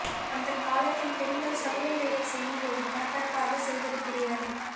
அந்தக் காலத்தில் பெண்கள் சமையல் வேலை செய்யும்போது பரபரப்பாகச் செய்வது கிடையாது